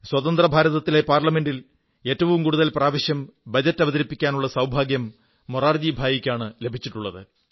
സ്വതന്ത്രഭാരതത്തിലെ പാർലമെന്റിൽ ഏറ്റവും കൂടുതൽ പ്രാവശ്യം ബജറ്റ് അവതരിപ്പിക്കാനുള്ള സൌഭാഗ്യം മൊറാർജിഭായിക്കാണ് ലഭിച്ചിട്ടുള്ളത്